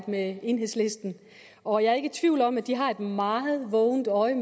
med enhedslisten og jeg er ikke i tvivl om at de har et meget vågent øje